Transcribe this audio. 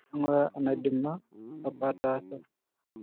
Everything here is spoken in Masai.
Eng'ura enaidima apa ataasa